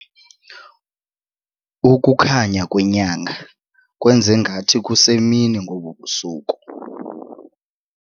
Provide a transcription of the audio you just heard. Ukukhanya kwenyanga kwenze ngathi kusemini ngobu busuku.